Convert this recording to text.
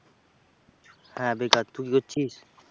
হ্যাঁ বেকার। তুই কি করছিস?